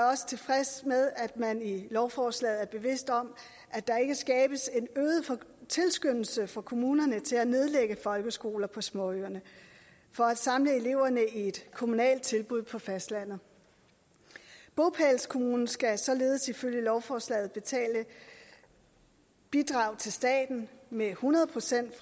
også tilfreds med at man i lovforslaget er bevidst om at der ikke skabes en øget tilskyndelse for kommunerne til at nedlægge folkeskoler på småøerne for at samle eleverne i et kommunalt tilbud på fastlandet bopælskommunen skal således ifølge lovforslaget betale bidrag til staten med hundrede procent i